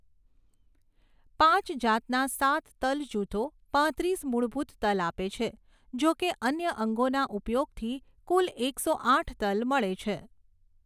પાંચ જાતના સાત તલ જૂથો પાંત્રીસ મૂળભૂત તલ આપે છે, જોકે અન્ય અંગોના ઉપયોગથી કુલ એકસો આઠ તલ મળે છે.